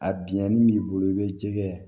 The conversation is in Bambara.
A bingani b'i bolo i bɛ jɛgɛ